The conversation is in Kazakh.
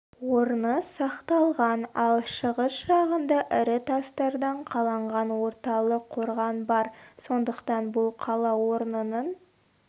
орны сақталған ал шығыс жағында ірі тастардан қаланған орталық қорған бар сондықтан бұл қала орнының